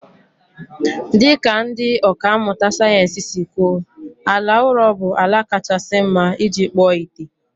Dị ka ndị ọkà mmụta sayensị si kwuo, ala ụrọ bụ ala kachasị mma iji kpụọ ite